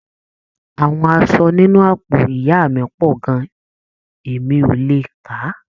Àwọn aṣọ nínú àpò ìyá mí pọ gan-an, e mí o le kàà